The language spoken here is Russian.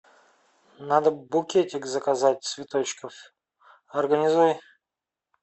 надо букетик заказать цветочков организуй